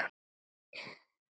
Ég get hvergi sofið.